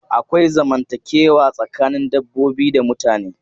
Akwai zamantakewa tsakanin dabbobi da mutane.